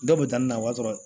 Dɔw bɛ taa na o b'a sɔrɔ